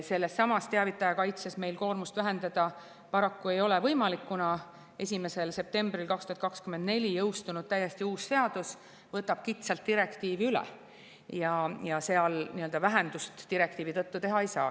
Sellesama teavitaja kaitsega meil koormust vähendada paraku ei ole võimalik, kuna 1. septembril 2024 jõustunud täiesti uus seadus võtab kitsalt direktiivi üle ja seal nii-öelda vähendust direktiivi tõttu teha ei saa.